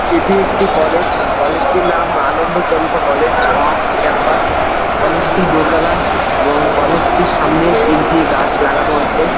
এটি একটি college college টির নাম আনন্দ চন্দ্র কলেজ এবং ক্যাম্পাস । কলেজ টি দোতলা এবং কলেজ টির সামনে তিনটি গাছ লাগানো আছে।